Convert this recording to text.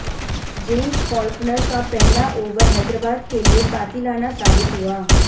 James Faulkner का पहला over Hyderabad के लिए कातिलाना साबित हुआ